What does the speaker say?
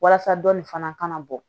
Walasa dɔɔnin fana ka na bɔ